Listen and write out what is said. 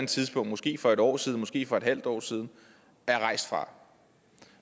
tidspunkt måske for et års tid siden måske for et halvt år siden er rejst fra